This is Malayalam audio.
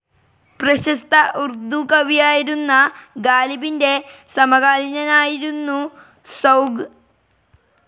പ്രശസ്ത ഉർദു കവിയായിരുന്ന ഗാലിബിന്റെ സമകാലീനനായിരുന്നു സൗഖ്.